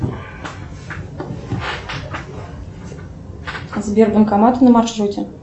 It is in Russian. сбер банкомат на маршруте